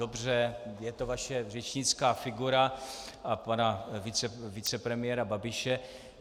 Dobře, je to vaše řečnická figura a pana vicepremiéra Babiše.